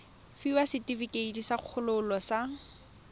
fiwa setefikeiti sa kgololo sa